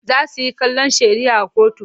Za su he kallon shari'ah kotu.